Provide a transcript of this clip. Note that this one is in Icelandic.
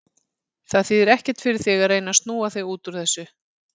Það þýðir ekkert fyrir þig að reyna að snúa þig út úr þessu.